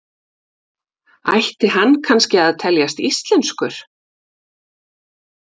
Ætti hann kannski að teljast íslenskur?